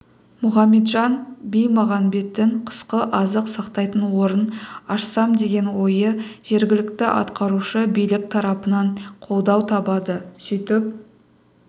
мұхаметжан бимағанбеттің қысқы азық сақтайтын орын ашсам деген ойы жергілікті атқарушы билік тарапынан қолдау табады сөйтіп